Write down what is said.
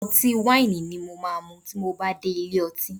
Ọtí wáìnì ni mo máa mu bí mo dé ilé ọtí